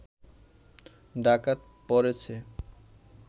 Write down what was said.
ডাকাত পড়েছে